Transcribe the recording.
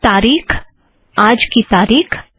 तारिख आज की तारिख